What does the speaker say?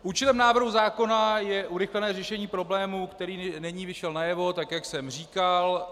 Účelem návrhu zákona je urychlené řešení problému, který nyní vyšel najevo, tak jak jsem říkal.